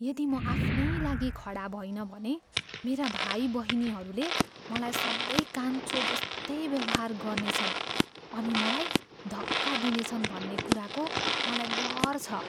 यदि म आफ्नै लागि खडा भइनँ भने मेरा भाइबहिनीहरूले मलाई सँधै कान्छो जस्तै व्यवहार गर्नेछन् अनि मलाई धक्का दिनेछन् भन्ने कुराको मलाई डर छ।